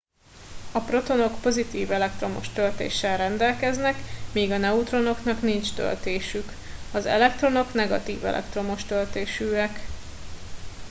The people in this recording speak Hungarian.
a protonok pozitív elektromos töltéssel rendelkeznek míg a neutronoknak nincs töltésük az elektronok negatív elektromos töltésűek